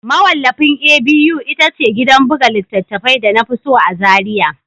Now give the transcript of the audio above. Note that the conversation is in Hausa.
Mawallafin A.B.U ita ce gidan buga littattafai da na fi so a Zariya